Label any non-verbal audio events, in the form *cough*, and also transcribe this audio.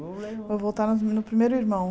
*unintelligible* Vou voltar no pri no primeiro irmão.